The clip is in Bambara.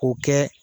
K'o kɛ